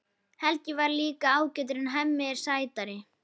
Helgi er líka ágætur en Hemmi er sætari.